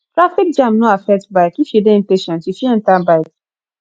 traffic jam no affect bike if you de impatient you fit enter bike